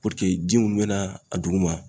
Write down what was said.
ji minnu bɛ na a duguma